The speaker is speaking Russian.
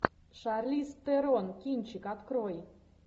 шарлиз терон кинчик открой